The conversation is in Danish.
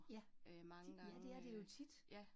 Ja, ja det er det jo tit